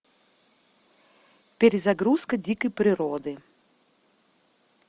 перезагрузка дикой природы